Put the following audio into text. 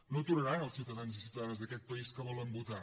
no aturaran els ciutadans i ciutadanes d’aquest país que volen votar